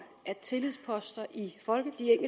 at tillidsposter i